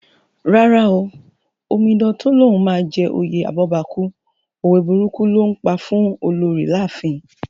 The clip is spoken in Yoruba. Rárá o, Omidan tó lóun máa jẹ oyè abọ́bakú, òwe burúkù ló ńpa fún Olorì láàfin